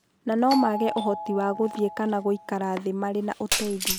Na no maage ũhoti wa gũthiĩ kana gũikara thĩ matarĩ na ũteithio.